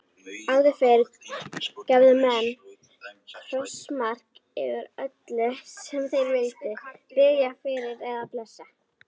Áður fyrr gerðu menn krossmark yfir öllu sem þeir vildu biðja fyrir eða blessa.